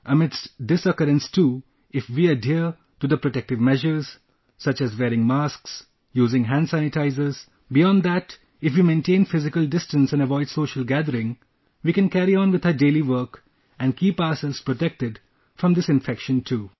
Amidst this occurrence too, if we adhere to the protective measures, the SOPs such as wearing masks, using hand sanitizers...beyond that, if we maintain physical distance and avoid social gathering, we can carry on with our daily work and keep ourselves protected from this infection too